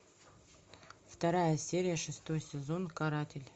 вторая серия шестой сезон каратель